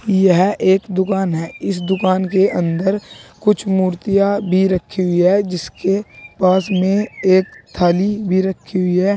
यह एक दुकान है इस दुकान के अंदर कुछ मूर्तियां भी रखी हुई है जिसके पास में एक थाली भी रखी हुई है।